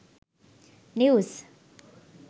news